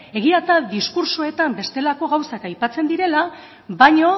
egia da diskurtsoetan bestelako gauzak aipatzen direla baino